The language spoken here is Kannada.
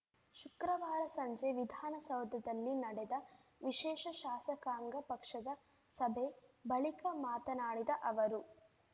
ಶುಕ್ರವಾರ ಸಂಜೆ ವಿಧಾನಸೌಧದಲ್ಲಿ ನಡೆದ ವಿಶೇಷ ಶಾಸಕಾಂಗ ಪಕ್ಷದ ಸಭೆ ಬಳಿಕ ಮಾತನಾಡಿದ ಅವರು